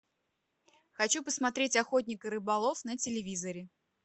хочу посмотреть охотник и рыболов на телевизоре